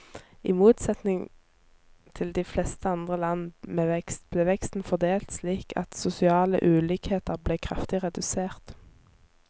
I motsetning til de fleste andre land med vekst, ble veksten fordelt slik at sosiale ulikheter ble kraftig redusert.